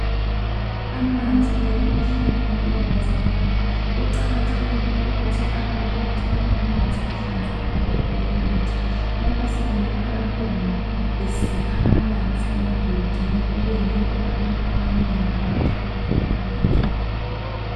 Amanzi ayikuphila empilweni zabantu kuqakathekile ukuthi abantu bathole amanzi ahlanzekileyo okunatha lapha sibona abantwana besikha amanzi emgodini okuyinto abantu abanengi awathola khona amanzi abo.